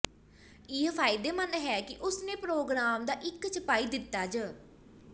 ਇਹ ਫਾਇਦੇਮੰਦ ਹੈ ਕਿ ਉਸ ਨੇ ਪ੍ਰੋਗਰਾਮ ਦਾ ਇੱਕ ਛਪਾਈ ਦਿੱਤਾ ਜਾ